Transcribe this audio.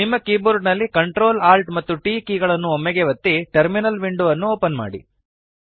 ನಿಮ್ಮ ಕೀಬೋರ್ಡ ನಲ್ಲಿCtrl Alt ಮತ್ತು T ಕೀ ಗಳನ್ನು ಒಮ್ಮೆಗೇ ಒತ್ತಿ ಟರ್ಮಿನಲ್ ವಿಂಡೊ ಅನ್ನು ಓಪನ್ ಮಾಡಿ